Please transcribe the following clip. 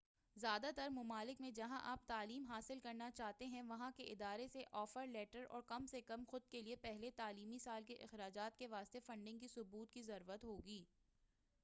زیادہ تر ممالک میں جہاں آپ تعلیم حاصل کرنا چاہتے ہیں وہاں کے ادارے سے آفر لیٹر اور کم سے کم خود کیلئے پہلے تعلیمی سال کے اخراجات کے واسطے فنڈ کے ثبوت کی ضرورت ہوگی